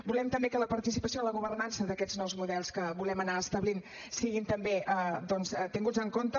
volem també que la participació en la governança d’aquests nous models que volem anar establint siguin també doncs tinguts en compte